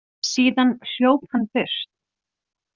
Síðan hljóp hann burt.